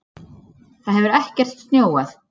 Það hefur ekkert snjóað